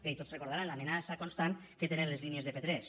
bé i tots deuen recordar l’amenaça constant que tenen les línies de p3